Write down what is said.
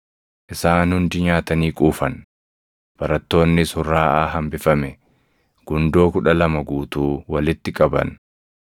Isaan hundi nyaatanii quufan; barattoonnis hurraaʼaa hambifame gundoo kudha lama guutuu walitti qaban.